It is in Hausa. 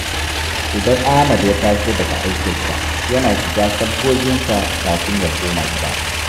Idan Ahmad ya taso daga aikinsa, yana shiga sabgoginsa kafin ya koma gida.